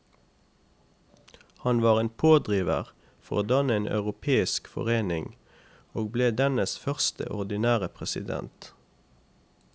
Han var en pådriver for å danne en europeisk forening, og ble dennes første ordinære president.